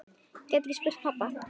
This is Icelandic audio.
Hann gæti spurt pabba.